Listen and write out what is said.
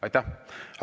Aitäh!